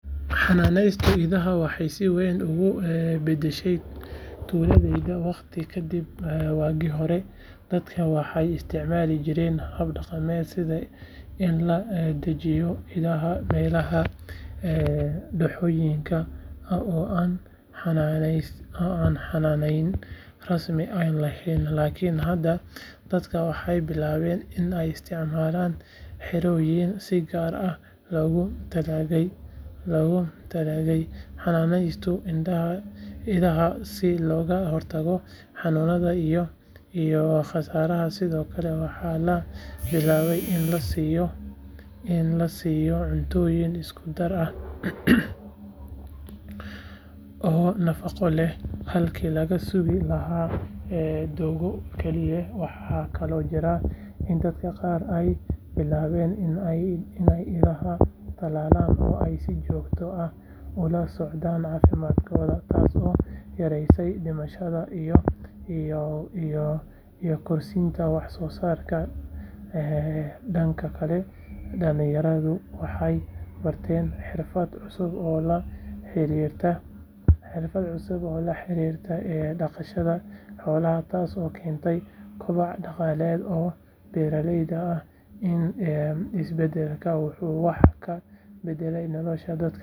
Xanaaneynta idaha waxay si weyn ugu beddeshay tuuladeena waqti ka dib waagii hore dadka waxay isticmaali jireen hab dhaqameed sida in la daajiyo idaha meelaha dooxooyinka ah oo aan xannaanayn rasmi ah lahayn laakiin hadda dadku waxay bilaabeen in ay isticmaalaan xerooyin si gaar ah loogu talagalay xanaaneynta idaha si looga hortago xanuunada iyo khasaaraha sidoo kale waxaa la bilaabay in la siiyo cuntooyin isku-dar ah oo nafaqo leh halkii laga sugi lahaa doogga keliya waxaa kaloo jira in dadka qaar ay bilaabeen in ay idaha talaalaan oo ay si joogto ah ula socdaan caafimaadkooda taasoo yaraysay dhimashada iyo kordhisay wax-soosaarka dhanka kale dhalinyaradu waxay bartaan xirfado cusub oo la xiriira dhaqashada xoolaha taasoo keentay kobac dhaqaale oo beeraleyda ah isbeddelkan wuxuu wax ka beddelay nolosha dad badan.